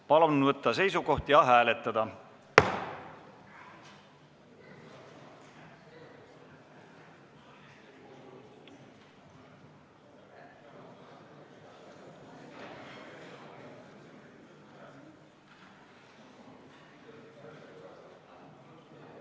Palun võtta seisukoht ja hääletada!